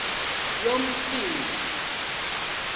yomsintsi